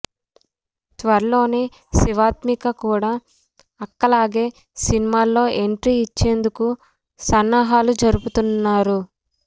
త్వరలోనే శివాత్మిక కూడా అక్కలాగే సినిమాల్లో ఎంట్రీ ఇచ్చేందుకు సన్నాహాలు జరుపుతున్నారు